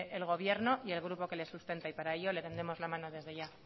el gobierno y el grupo que le sustenta y para ello tendemos la mano desde ya